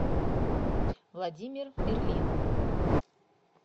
владимир мерлин